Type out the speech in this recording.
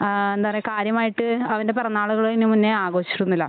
ആ എന്താ പറയാ കാര്യമായിട്ട് അവൻ്റെ പിറന്നാളുകള് ഇതിനു മുന്നേ ആഘോഷിച്ചിട്ടൊന്നുമില്ല